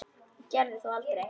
Ég gerði það þó aldrei.